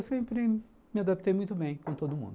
Eu sempre me adaptei muito bem com todo mundo.